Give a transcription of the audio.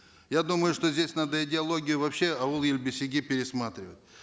я думаю что здесь надо идеологию вообще ауыл ел бесігі пересматривать